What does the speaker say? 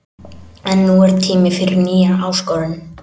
En nú er tími fyrir nýja áskorun.